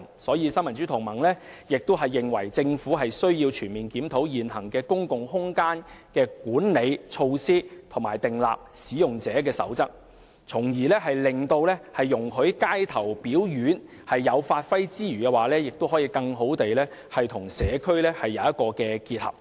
新民主同盟認為，政府需要全面檢討現行的公共空間管理措施及訂立使用者守則，容許街頭表演者發揮之餘，亦可以更好地與社區結合。